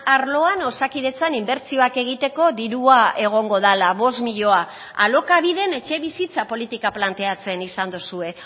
arloan osakidetzan inbertsioak egiteko dirua egongo dela bost milioi alokabiden etxebizitza politika planteatzen izan duzue